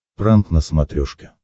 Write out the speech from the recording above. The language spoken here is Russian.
пранк на смотрешке